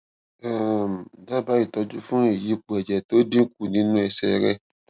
um dábàá ìtọjú fún ìyípo ẹjẹ tó dínkù nínú ẹsẹ rẹ